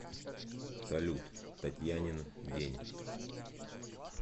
салют татьянин день